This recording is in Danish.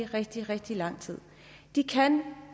rigtig rigtig lang tid kan